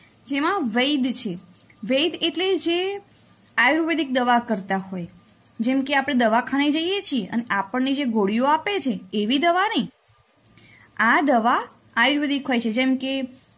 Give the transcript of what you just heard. જેમાં વૈદ્ય છે વૈદ્ય એટલે જે આયુર્વેદિક દવા કરતાં હોય જેમકે આપણે દવાખાને જઈએ છે અને આપણને જે ગોળીયો આપે છે એવી દવા નઈ આ દવા આયુર્વેદિક હોય છે. જેમકે